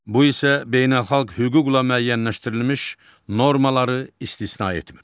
Bu isə beynəlxalq hüquqla müəyyənləşdirilmiş normaları istisna etmir.